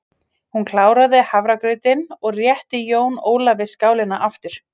Hún kláraði hafragrautinn og rétti Jóni Ólafi skálina aftur.